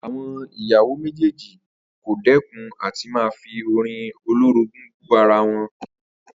Àwo̩n ìyàwó méjèèjì kò dé̩kun à ti máa fi orin olórogún bú ara wo̩n